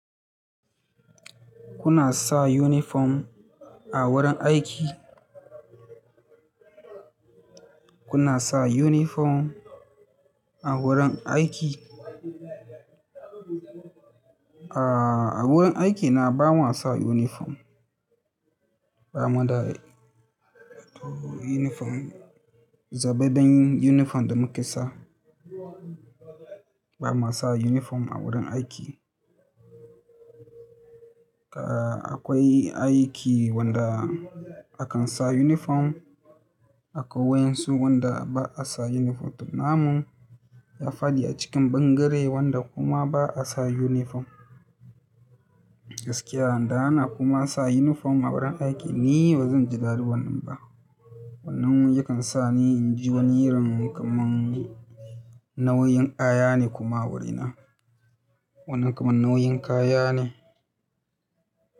Kuna sa uniform a wurin aiki? Kuna sa uniform a wurin aiki? A wurin aiki na ba mua sa uniform. Ba mu da uniform, zabe din uniform da muka sa. Ba ma sa uniform a wurin aiki. Akwai aiki wanda akan sa uniform, akwai wainsu wanda ba a sa uniform. Namu ya faɗi a cikin ɓangare wanda kuma ba a sa uniform. Gaskiya, idan ana kuma sa uniform a wurin aiki ni bazan ji daɗi wannan ba. Wannan yakan sa ni in ji wani irin kaman nauyin kaya ne kuma wurina. Wannan kamar nauyin kaya ne.